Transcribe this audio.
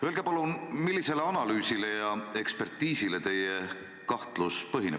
Öelge palun, millisele analüüsile ja ekspertiisile teie kahtlus põhineb.